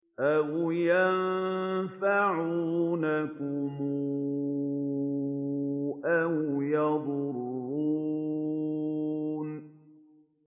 أَوْ يَنفَعُونَكُمْ أَوْ يَضُرُّونَ